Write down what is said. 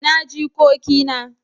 ina jikoki na?